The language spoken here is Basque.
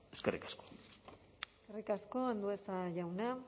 eskerrik asko eskerrik asko andueza jauna